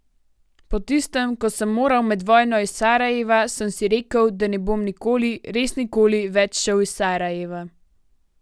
Po tistem, ko sem moral med vojno iz Sarajeva, sem si rekel, da ne bom nikoli, res nikoli več šel iz Sarajeva.